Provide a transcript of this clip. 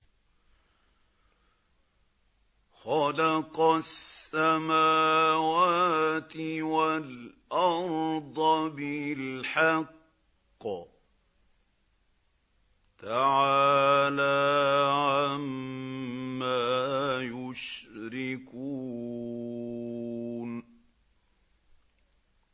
خَلَقَ السَّمَاوَاتِ وَالْأَرْضَ بِالْحَقِّ ۚ تَعَالَىٰ عَمَّا يُشْرِكُونَ